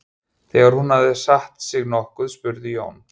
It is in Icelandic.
Þegar hún hafði satt sig nokkuð spurði Jón